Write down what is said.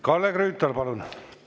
Kalle Grünthal, palun!